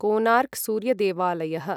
Konark सूर्यदेवलायः